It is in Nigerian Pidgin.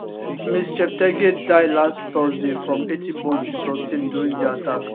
ms cheptegei die last thursday from 80 burn she sustain during di attack